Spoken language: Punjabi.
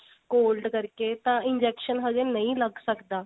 cold ਕਰਕੇ ਤਾਂ injection ਹਜੇ ਨਹੀ ਲੱਗ ਸਕਦਾ